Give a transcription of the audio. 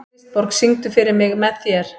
Kristborg, syngdu fyrir mig „Með þér“.